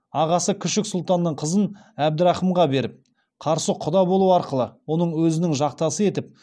ағасы күшік сұлтанның қызын әбдірахымға беріп қарсы құда болу арқылы оны өзінің жақтасы етіп